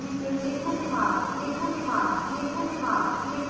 iit Bombay से मैं जया आपसे विदा लेती हूं हमसे जुडने के लिए धन्यवाद